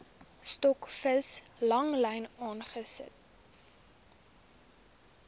stokvis langlyn vangste